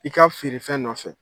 I ka feerefɛn nɔfɛ.